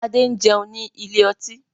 Adé ń jẹun ní ilé ọtí.